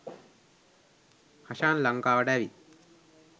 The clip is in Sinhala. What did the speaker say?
හෂාන් ලංකාවට ඇවිත්